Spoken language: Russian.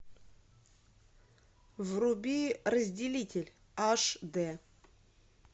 вруби разделитель аш д